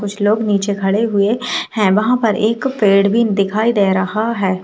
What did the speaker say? कुछ लोग निचे खड़े हुए हैं वहां पर एक पेड़ भी दिखाई दे रहा है।